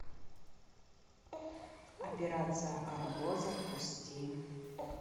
операция арго запусти